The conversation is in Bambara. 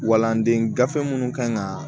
Walanden gafe minnu kan ka